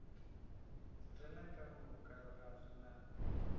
rena ka moka ga rena